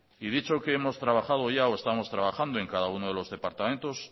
y dicho que hemos trabajado o estamos trabajando en cada uno de los departamentos